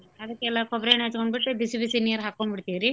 ಅದ್ಕೆಲ್ಲಾ ಕೊಬ್ರೇಣ್ಣಿ ಹಚ್ಗೊಂಬಿಟ್ಟ್ ಬಿಸಿ ಬಿಸಿ ನೀರ್ ಹಾಕ್ಕೊಂಡ್ಬಿತಿವರರ್ರೀ .